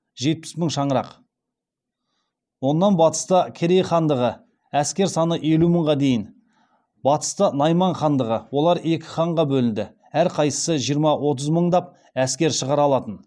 жетпіс мың шаңырақ онан батыста керей хандығы әскер саны елу мыңға дейін батыста найман хандығы олар екі ханға бөлінді әр қайсысы жиырма отыз мыңдап әскер шығара алатын